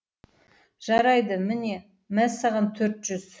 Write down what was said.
жарайды міне мә саған төрт жүз